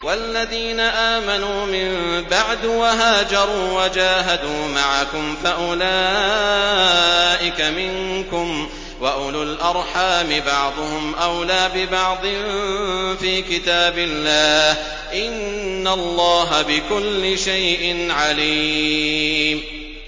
وَالَّذِينَ آمَنُوا مِن بَعْدُ وَهَاجَرُوا وَجَاهَدُوا مَعَكُمْ فَأُولَٰئِكَ مِنكُمْ ۚ وَأُولُو الْأَرْحَامِ بَعْضُهُمْ أَوْلَىٰ بِبَعْضٍ فِي كِتَابِ اللَّهِ ۗ إِنَّ اللَّهَ بِكُلِّ شَيْءٍ عَلِيمٌ